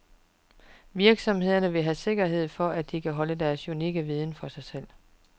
Virksomhederne vil have sikkerhed for, at de kan holde deres unikke viden for sig selv.